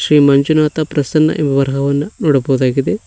ಈ ಮಂಜುನಾಥ ಪ್ರಸನ್ನ ವರಹವನ್ನ ನೋಡಬಹುದಾಗಿದೆ.